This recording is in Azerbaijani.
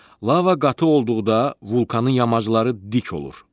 Lava qatı olduqda vulkanın yamacları dik olur.